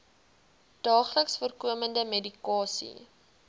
daagliks voorkomende medikasie